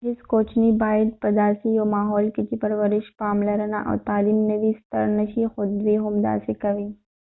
هیڅ کوچنی باید په داسې یو ماحول کې چې پرورش پاملرنه او تعلیم نه وي ستر نه شي خو دوی همداسې کوي